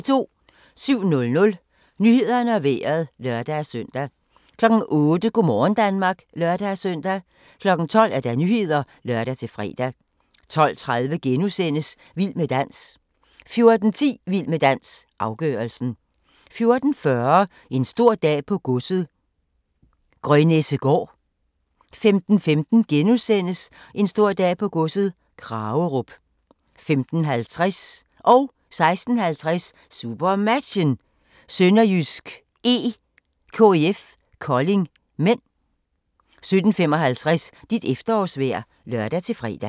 07:00: Nyhederne og Vejret (lør-søn) 08:00: Go' morgen Danmark (lør-søn) 12:00: Nyhederne (lør-fre) 12:30: Vild med dans * 14:10: Vild med dans - afgørelsen 14:40: En stor dag på godset - Grønnessegaard 15:15: En stor dag på godset - Kragerup * 15:50: SuperMatchen: SønderjyskE-KIF Kolding (m) 16:50: SuperMatchen: SønderjyskE-KIF Kolding (m) 17:55: Dit efterårsvejr (lør-fre)